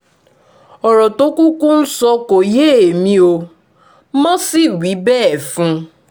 ọ̀rọ̀ tó kúkú ń sọ kò yé èmi ò mọ́ sí wí bẹ́ẹ̀ fún un